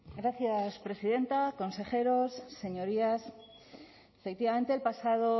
gracias presidenta consejeros señorías efectivamente el pasado